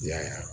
I y'a ye